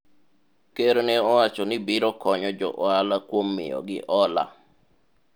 ker ne owacho ni biro konyo jo ohala kuom miyogi hola